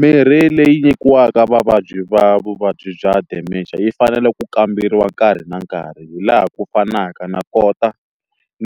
Mirhi leyi nyikiwaka vavabyi va vuvabyi bya dementia yi fanele ku kamberiwa nkarhi na nkarhi hi laha ku fanaka na kota